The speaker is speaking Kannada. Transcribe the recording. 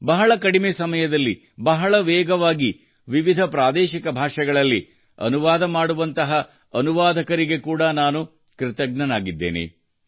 ಬಹಳ ಕಡಿಮೆ ಸಮಯದಲ್ಲಿ ಬಹಳ ವೇಗವಾಗಿ ವಿವಿಧ ಪ್ರಾದೇಶಿಕ ಭಾಷೆಗಳಲ್ಲಿ ಅನುವಾದ ಮಾಡುವಂತಹ ಅನುವಾದಕರಿಗೆ ಕೂಡಾ ನಾನು ಕೃತಜ್ಞನಾಗಿದ್ದೇನೆ